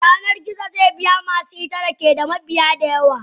Yanar gizo ze biya masu ita da keda mabiya da yawa.